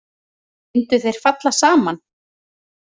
Myndu þeir falla saman?